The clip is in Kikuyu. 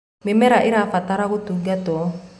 mĩmera ĩrabatara gũtungatwo